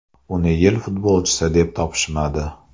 Uni yil futbolchisi deb topishmadi.